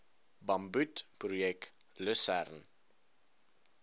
bamboed projek lusern